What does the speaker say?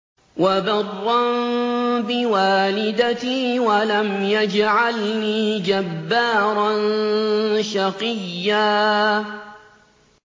وَبَرًّا بِوَالِدَتِي وَلَمْ يَجْعَلْنِي جَبَّارًا شَقِيًّا